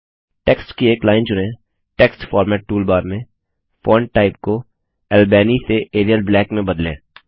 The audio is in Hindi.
टेक्स्ट की एक लाइन चुनें Text फॉर्मेट टूलबार में फॉन्ट टाइप को अल्बेनी से एरियल ब्लैक में बदलें